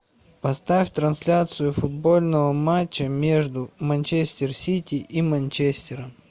поставь трансляцию футбольного матча между манчестер сити и манчестером